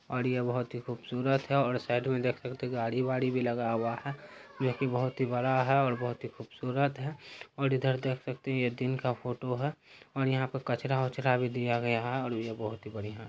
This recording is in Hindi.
और ये बहोत ही खूबसूरत है और साइड मे देख सकते हैं गाड़ी वाड़ी भी लगा हुआ है जो की बहोत ही बड़ा है और बहोत ही खूबसूरत है और इधर देख सकते हैं ये दिन का फोटो है और यहाँ पे कचरा वचरा भी दिया गया है और ये बहोत ही बढ़िया है।